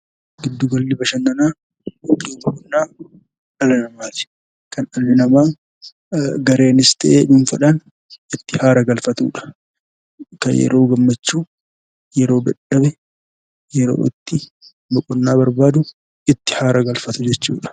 Gidduu galli bashannanaa iddoo boqonnaa dhala namaati. Kan dhalli namaa gareenis ta'e dhuunfaadhaan itti haara galfatudha. Kan yeroo gammachuu, yeroo dadhabe, yeroo itti boqonnaa barbaadu itti aara galfatu jechuudha.